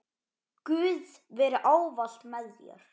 Guð veri ávallt með þér.